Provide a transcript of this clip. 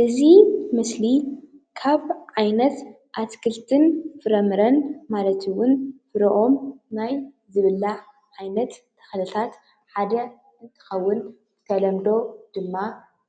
እዚ ምስሊ ካብ ዓይነት ኣትክልቲ ፍራምረን ማለት እውን ፍርኦም ናይ ዝብላዕ ዓይነት ተኽልታት ሓደ እንትኽውን ብተለምዶ ድማ